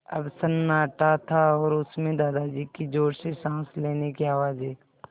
अब सन्नाटा था और उस में दादाजी की ज़ोर से साँस लेने की आवाज़ें